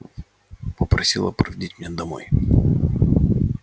попросила проводить меня домой